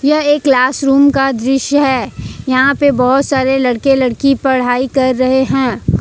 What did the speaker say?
यह एक class room का दृश्य है यहां पे बहुत सारे लड़के लड़की पढ़ाई कर रहे हैं।